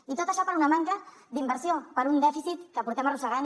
i tot això per una manca d’inversió per un dèficit que arrosseguem